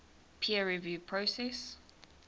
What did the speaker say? peer review process